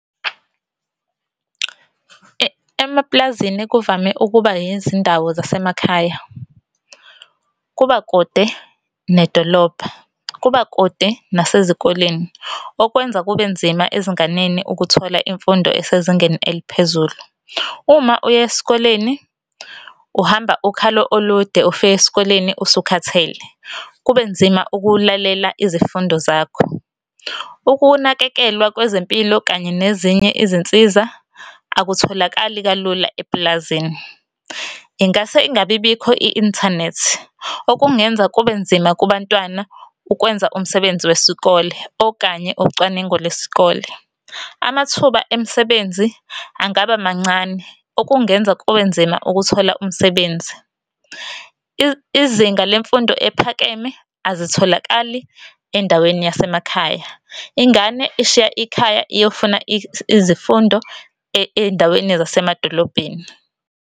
Emapulazini kuvame ukuba izindawo zasemakhaya. Kuba kude nedolobha, kuba kude nasezikoleni okwenza kube nzima ezinganeni ukuthola imfundo esezingeni eliphezulu. Uma uya esikoleni uhamba ukhalo olude ufike esikoleni usukhathele kube nzima ukulalela izifundo zakho. Ukunakekelwa kwezempilo kanye nezinye izinsiza, akutholakali kalula epulazini. Ingase ingabi bikho i-inthanethi, okungenza kube nzima kubantwana ukwenza umsebenzi wesikole okanye ucwaningo lwesikole. Amathuba emisebenzi angaba mancane, okungenza kube nzima ukuthola umsebenzi. Izinga lemfundo ephakeme azitholakali endaweni yasemakhaya. Ingane ishiya ikhaya iyofuna izifundo ey'ndaweni zasemadolobheni.